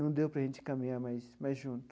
Não deu para gente caminhar mais mais junto.